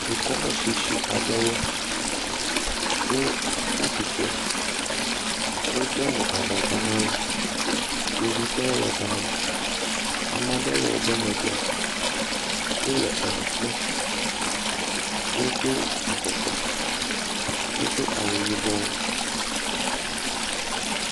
Dukɔme tsitsi aɖewo wo tsi atsitre. Wode nu abɔta na wo. Kpovitɔwo le ga ma. Ame aɖewo le woƒe megbe. Wo le enu kpɔm. wodo afɔkpa. Wodo awu yibɔ.